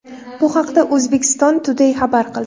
Bu haqda Uzbekistan Today xabar qildi .